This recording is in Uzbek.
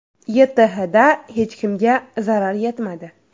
YTHda hech kimga zarar yetmadi.